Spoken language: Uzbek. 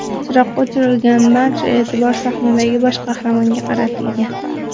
Chiroq o‘chirilgan, barcha e’tibor sahnadagi bosh qahramonga qaratilgan.